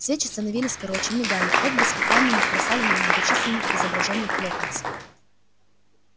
свечи становились короче мигали отблески пламени плясали на многочисленных изображениях локонса